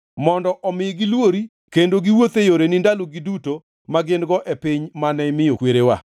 mondo omi gilwori kendo giwuoth e yoreni ndalogi duto ma gin-go e piny mane imiyo kwerewa.